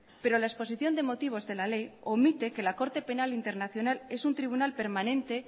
pero la exposición de motivos de la ley omite que la corte penal internacional es un tribunal permanente